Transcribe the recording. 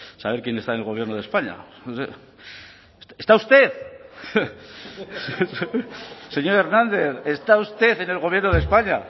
saber quién está en el gobierno de españa está usted señor hernández está usted en el gobierno de españa